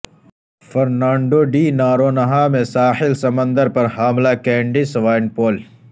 Fernando de Noronha میں ساحل سمندر پر حاملہ کینڈی سوائنپول